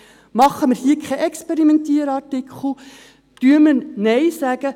Machen wir hier keinen Experimentier-Artikel, sagen wir Nein.